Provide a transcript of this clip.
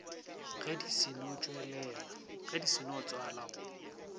ge di seno tswala go